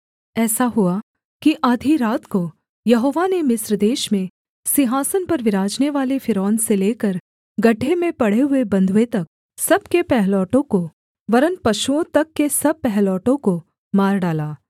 ऐसा हुआ कि आधी रात को यहोवा ने मिस्र देश में सिंहासन पर विराजनेवाले फ़िरौन से लेकर गड्ढे में पड़े हुए बँधुए तक सब के पहिलौठों को वरन् पशुओं तक के सब पहिलौठों को मार डाला